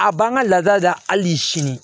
A b'an ka laada la hali sini